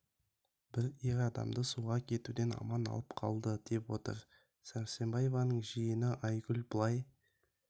бір ер адамды суға кетуден аман алып қалды деп отыр сәрсенбаеваның жиені айгүл былай